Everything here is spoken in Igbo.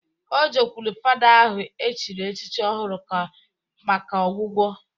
O jekwulu fada ahụ e chiri echichi ọhụrụ ka maka ọgwụgwọ